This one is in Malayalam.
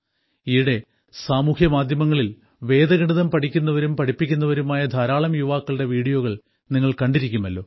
ഈയിടെ സാമൂഹ്യമാധ്യമങ്ങളിൽ വേദഗണിതം പഠിക്കുന്നവരും പഠിപ്പിക്കുന്നവരുമായ ധാരാളം യുവാക്കളുടെ വീഡിയോകൾ നിങ്ങൾ കണ്ടിരിക്കുമല്ലോ